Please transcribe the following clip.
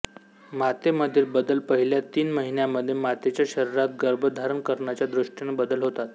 मातेमधील बदल पहिल्या तीन महिन्यामध्ये मातेच्या शरीरात गर्भधारण करण्याच्या दृष्टीने बदल होतात